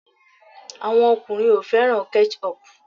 Àwọn ọkùnrin o fẹ́ràn Ketchup